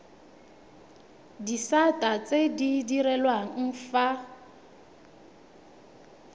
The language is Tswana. disata tse di direlwang fa